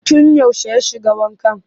Tun yaushe ya shiga wankan?